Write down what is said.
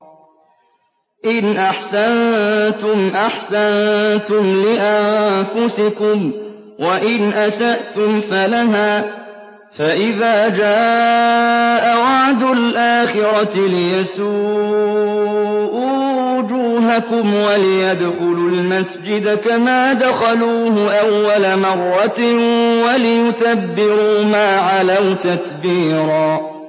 إِنْ أَحْسَنتُمْ أَحْسَنتُمْ لِأَنفُسِكُمْ ۖ وَإِنْ أَسَأْتُمْ فَلَهَا ۚ فَإِذَا جَاءَ وَعْدُ الْآخِرَةِ لِيَسُوءُوا وُجُوهَكُمْ وَلِيَدْخُلُوا الْمَسْجِدَ كَمَا دَخَلُوهُ أَوَّلَ مَرَّةٍ وَلِيُتَبِّرُوا مَا عَلَوْا تَتْبِيرًا